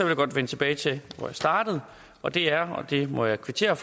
jeg godt vende tilbage til hvor jeg startede og det er og det må jeg kvittere